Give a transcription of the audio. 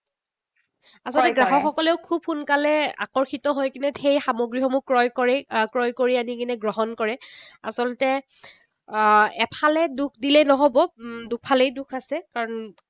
আচলতে গ্ৰাহকসকলেও খুব সোনকালে আকৰ্ষিত হৈ কিনি সেই সামগ্ৰীসমূহ ক্ৰয় কৰি আনি, ক্ৰয় কৰি আনি কিনি গ্ৰহণ কৰে। আচলত আহ এফালে দোষ দিলেই নহব। দুফালেই দোষ আছে। কাৰণ